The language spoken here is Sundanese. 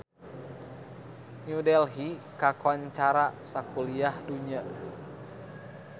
New Delhi kakoncara sakuliah dunya